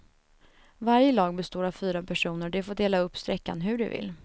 Varje lag består av fyra personer och de får dela upp sträckan hur de vill.